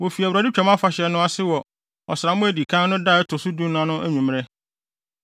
Wofi Awurade Twam Afahyɛ no ase wɔ ɔsram a edi kan no da ɛto so dunan no anwummere.